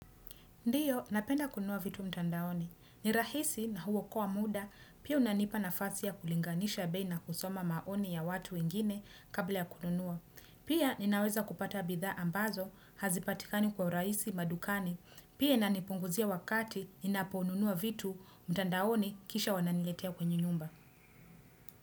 Ndio, napenda kununua vitu mtandaoni. Ni rahisi na huokoa kwa muda, pia unanipa nafasi ya kulinganisha bei na kusoma maoni ya watu ingine kabla ya kununua. Pia, ninaweza kupata bidha ambazo, hazipatikani kwa uraisi madukani, pia unanipunguzia wakati ninaponunua vitu mtandaoni kisha wananiletea kwenye nyumba.